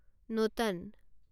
নোটান